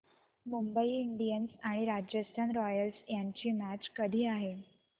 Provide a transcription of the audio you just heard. Mumbai Indians आणि Royals रॉयल्स यांची मॅच कधी आहे